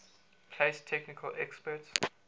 place technical experts